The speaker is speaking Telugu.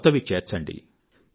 కొత్తవి చేర్చండి